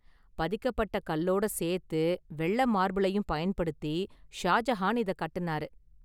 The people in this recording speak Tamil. பதிக்கப்பட்ட கல்லோட சேர்த்து வெள்ளை மார்பிளையும் பயன்படுத்தி ஷாஜஹான் இத கட்டுனாரு.